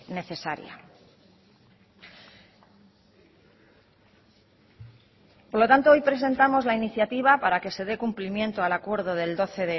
necesaria por lo tanto hoy presentamos la iniciativa para que se dé cumplimiento al acuerdo del doce